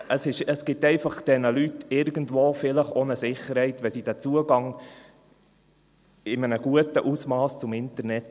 Es gibt vielleicht diesen Leuten einfach irgendwo eine Sicherheit, wenn sie den Zugang zum Internet in einem guten Ausmass haben.